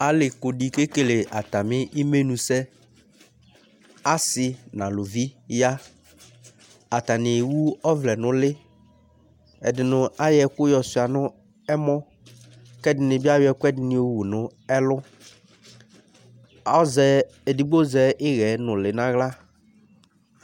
ali ku di kekele atami imenu sɛ ase n'aluvi ya atani ewu ɔvlɛ no uli ɛdini ayɔ ɛko yɔ sua no ɛmɔ ko ɛdini bi ayɔ ɛkoɛdini yowu no ɛlo azɛ edigbo azɛ iɣɛ nòli n'ala